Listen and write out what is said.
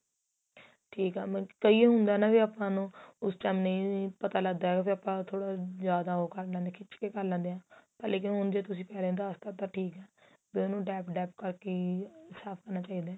ਠੀਕ ਏ ਮਤਲਬ ਕੀ ਇਹ ਹੁੰਦਾ ਨਾ ਆਪਾਂ ਨੂੰ ਉਸ time ਨਹੀਂ ਪਤਾ ਲੱਗਦਾ ਵੀ ਆਪਾਂ ਥੋੜਾ ਜਿਆਦਾ ਕਰ ਲੈਂਦੇ ਆ ਖਿਚ ਕੇ ਕਰ ਲੈਂਦੇ ਆ ਪਹਿਲੇ ਹੁਣ ਜੇ ਤੁਸੀਂ ਪਹਿਲੇ ਦਸ ਤਾਂ ਠੀਕ ਏ ਬੀ ਉਹਨੂੰ dap dap ਕਰ ਕੇ ਹੀ ਸਾਫ਼ ਕਰਨਾ ਚਾਹੀਦਾ